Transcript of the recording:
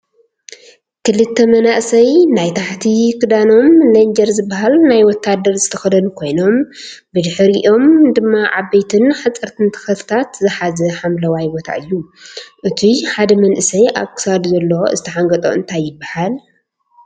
ክልተ መናእሰይ ናይ ታሕቲ ክዳኖም ሌንጀር ዝብሃል ናይ ወታደር ዝተከደኑ ኮይኖም ብድሕርይኦም ድማ ዓበይቲን ሓፀርትን ተክልታት ዝሓዘ ሓምለዋይ ቦታ እዩ። እቱይ ሓደ መንእሰይ ኣብ ክሳዱ ዘሎ ዝተሓንገጦ እንታይ ይብሃል?